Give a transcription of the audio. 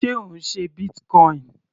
Sé Ò ń ṣe Bitcoin?